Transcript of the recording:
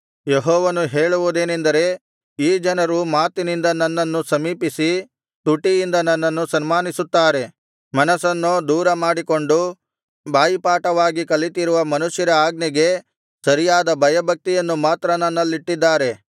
ಯೆಹೋವನು ಹೇಳುವುದೇನೆಂದರೆ ಈ ಜನರು ಮಾತಿನಿಂದ ನನ್ನನ್ನು ಸಮೀಪಿಸಿ ತುಟಿಯಿಂದ ನನ್ನನ್ನು ಸನ್ಮಾನಿಸುತ್ತಾರೆ ಮನಸ್ಸನ್ನೋ ದೂರಮಾಡಿಕೊಂಡು ಬಾಯಿಪಾಠವಾಗಿ ಕಲಿತಿರುವ ಮನುಷ್ಯರ ಆಜ್ಞೆಗೆ ಸರಿಯಾದ ಭಯಭಕ್ತಿಯನ್ನು ಮಾತ್ರ ನನ್ನಲ್ಲಿಟ್ಟಿದ್ದಾರೆ